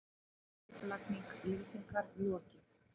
Endurskipulagningu Lýsingar lokið